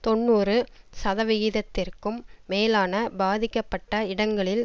தொன்னூறு சதவிகிதத்திற்கும் மேலான பாதிக்கப்பட்ட இடங்களில்